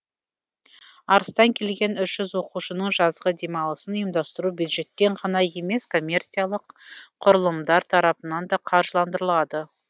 арыстан келген үш жүз оқушының жазғы демалысын ұйымдастыру бюджеттен ғана емес коммерциялық құрылымдар тарапынан да қаржыландырылады